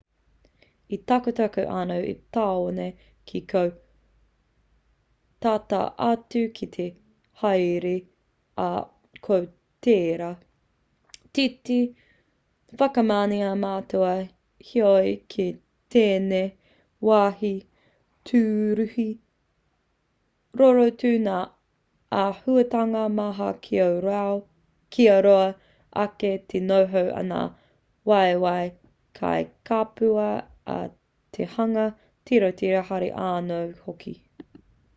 e takoto ana te tāone ki kō tata atu ki te hīrere ā ko tērā te te whakamanea matua heoi kei tēnei wāhi tūruhi rorotu ngā āhuatanga maha kia roa ake te noho a ngā waewae kai kapua a te hunga tirotiro haere anō hoki